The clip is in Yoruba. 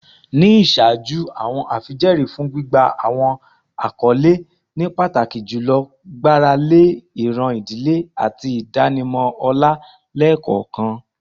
Ni iṣaaju, awọn afijẹẹri fun gbigba awọn akọle ni pataki julọ gbarale iran idile ati idanimọ ọlá lẹẹkọọkan.